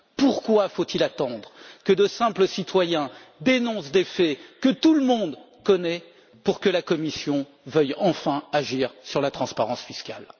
Pourquoi faut il attendre que de simples citoyens dénoncent des faits que tout le monde connaît pour que la Commission veuille enfin agir sur la transparence fiscale?